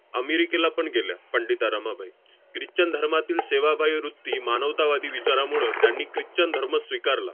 अमेरिकेला पण गेल्या पंडिता रमाबाई. christian धर्मातील सेवाभावी वृत्ती, मानवतावादी विचारामुळं त्यांनी christian धर्म स्वीकारला